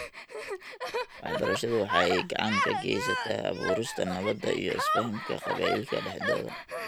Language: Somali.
Waxbarashadu waxay gacan ka geysataa abuurista nabadda iyo isfahamka qabaa'ilka dhexdooda.